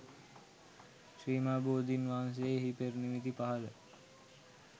ශ්‍රී මහා බෝධින් වහන්සේ එහි පෙර නිමිති පහළ